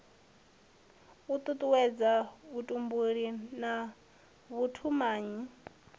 u tutuwedza vhutumbuli na vhutumanyi